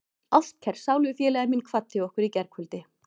Ástkær sálufélagi minn kvaddi okkur í gærkvöldi.